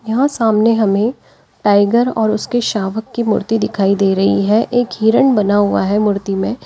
यहां सामने हमें टाइगर और उसके शावक की मूर्ति दिखाई दे रही है एक हिरन बना हुआ है मूर्ति में।